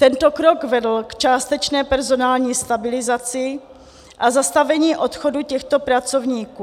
Tento krok vedl k částečné personální stabilizaci a zastavení odchodu těchto pracovníků.